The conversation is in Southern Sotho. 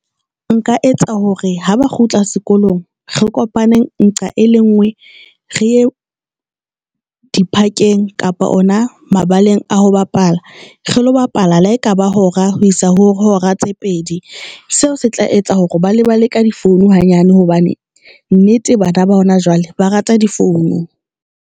Nka etsa hore ha ba kgutla sekolong, re kopane nqa e le nngwe re e dipakeng kapa ona mabaleng a ho bapala re lo bapala. Le ha ekaba hora ho isa ho hora tse pedi, seo se tla etsa hore ba le ba le ka difounu hanyane hobane nnete bana ba hona jwale, ba rata difounu.